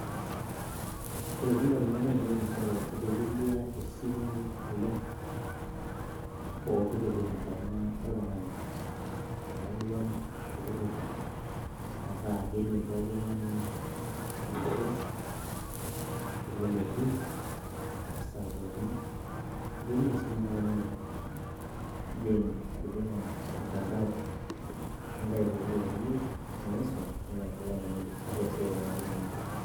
kelotu ndamunot ainei nchere eitelelia esimu oleng pooki toki tenkaina oltung`ani, eyawua poki toki metaa kidim poki tung`ani anoto teleleki esaa pookin eitumia esimu enkaina enye, indim atijing`a ormtandao nintayu poki toki niyieu niisum niapply ninye ata esiai tenaa keninye iyieu.